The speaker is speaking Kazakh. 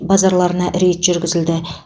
базарларына рейд жүргізілді